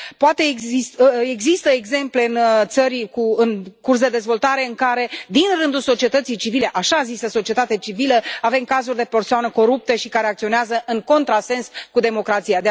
Poate există exemple în țări în curs de dezvoltare în care, din rândul societății civile, așa zisă societate civilă, avem cazuri de persoane corupte și care acționează în contrasens cu democrația.